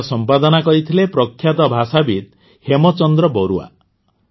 ଏହାର ସମ୍ପାଦନା କରିଥିଲେ ପ୍ରଖ୍ୟାତ ଭାଷାବିତ୍ ହେମଚନ୍ଦ୍ର ବରୁଆ